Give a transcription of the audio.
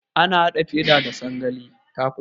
Ana haɗe feda da sangalali.